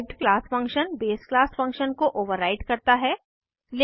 derived class function base class function को override करता हैं